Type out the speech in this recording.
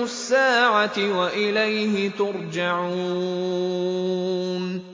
السَّاعَةِ وَإِلَيْهِ تُرْجَعُونَ